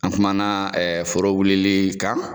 An kuma na foro wulili kan.